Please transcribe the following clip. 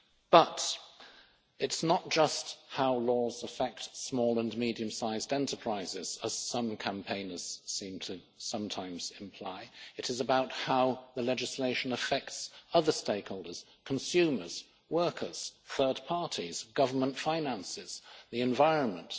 But it's not just how laws affect small and medium sized enterprises as some campaigners seem to sometimes imply, it is about how the legislation affects other stakeholders consumers, workers, third parties, government finances, the environment.